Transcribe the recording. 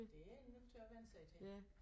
Det er man nødt til at vænne sig til